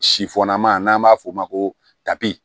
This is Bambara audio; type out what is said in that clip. Sifɔnnama n'an b'a f'o ma ko tabi